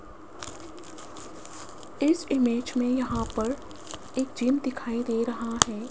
इस इमेज में यहां पर एक जिम दिखाई दे रहा है।